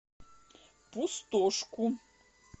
пустошку